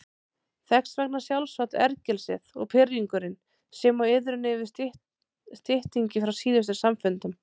Þess vegna sjálfsagt ergelsið og pirringurinn sem og iðrun yfir styttingi frá síðustu samfundum.